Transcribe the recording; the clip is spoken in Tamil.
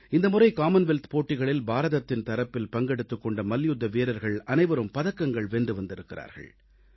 இந்த முறை காமன்வெல்த் போட்டிகளில் பாரதத்தின் தரப்பில் பங்கெடுத்துக் கொண்ட மல்யுத்த வீரர்கள் அனைவரும் பதக்கங்கள் வென்று வந்திருக்கிறார்கள்